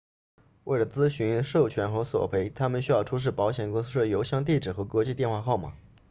为了咨询授权和索赔他们需要出示保险公司的邮箱地址和国际电话号码